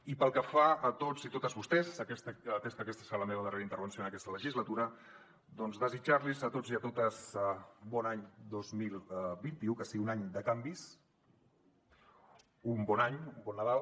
i pel que fa a tots i totes vostès atès que aquesta serà la meva darrera intervenció en aquesta legislatura doncs desitjar los a tots i a totes bon any dos mil vint u que sigui un any de canvis un bon any un bon nadal